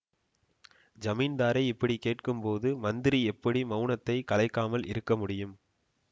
ஜமீன்தாரே இப்படி கேட்கும்போது மந்திரி எப்படி மௌனத்தைக் கலைக்காமல் இருக்கமுடியும்